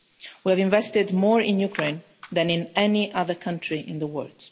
We have invested more in Ukraine than in any other country in the world.